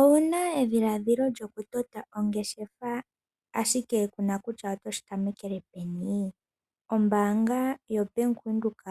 Owuna edhiladhilo lyokutota ongeshefa ashike kuna kutya otoshi tamekele peni? Ombaanga yaBank Windhoek